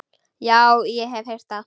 Já, ég hef heyrt það.